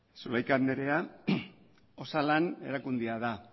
zulaika anderea osalan erakundea da